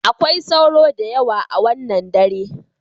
Akwai sauro da yawa a wannan dare.